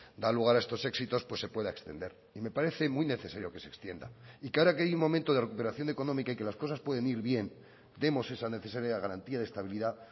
da lugar a estos éxitos pues se pueda extender y me parece muy necesario que se extienda y que ahora que hay un momento de recuperación económica y que las cosas pueden ir bien demos esa necesaria garantía de estabilidad